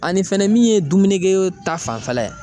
Ani fɛnɛ min ye dumunikɛyɔrɔ ta fanfɛla ye